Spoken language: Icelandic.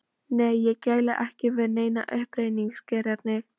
Nei, ég gæli ekki við neina uppreisnargirni.